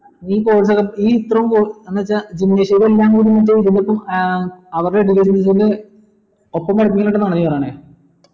എന്ന് വെച്ചാ gymnasium ഇതിപ്പോ ഏർ അവരുടെ ഒപ്പം പഠിപ്പിക്കുന്നുണ്ട് എന്നാണോ നീ പറയുന്നെ